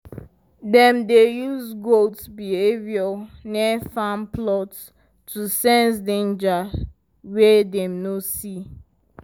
dem dey use goat behaviour near farm plots to sense danger wey dem no see.